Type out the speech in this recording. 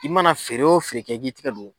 I mana feere o feere kɛ i k'i tigɛ don